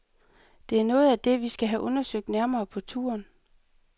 Det er noget af det, vi skal have undersøgt nærmere på turen.